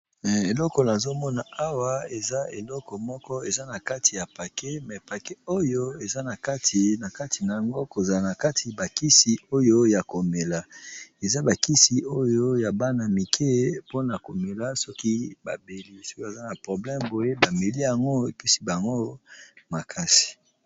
Eloko na azomona awa eza eleko moko eza na kati ya paket, me paket oyo eza na kati na yango kozala na kati bakisi oyo ya komela, eza bakisi oyo ya bana mike mpona komela soki babeli, soki baza na probleme boye bameli yango ebikisi bango makasi.